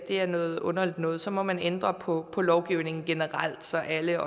er noget underligt noget så må man ændre på lovgivningen generelt så alle